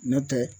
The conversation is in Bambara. N'o tɛ